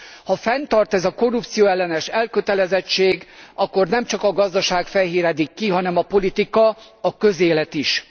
Ha fennmarad ez a korrupcióellenes elkötelezettség, akkor nemcsak a gazdaság fehéredik ki, hanem a politika, a közélet is.